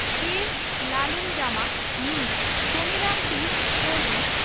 ᱠᱮᱹ ᱞᱟᱞᱩᱱᱡᱟᱢᱟ (ᱢᱤᱡᱚ) ᱵᱷᱚᱱᱤᱨᱟᱢ ᱴᱤᱥᱚ (ᱠᱚᱨᱵᱤ)